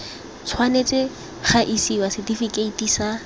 tshwanetse ga isiwa setifikeiti sa